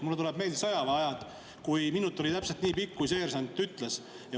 Mulle tuleb meelde sõjaväeajast, et minut oli täpselt nii pikk, nagu seersant ütles.